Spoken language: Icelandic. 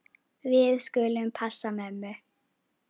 Við skulum passa mömmu.